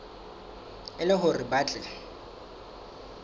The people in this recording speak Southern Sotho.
e le hore ba tle